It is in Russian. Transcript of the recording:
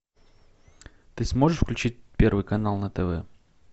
ты сможешь включить первый канал на тв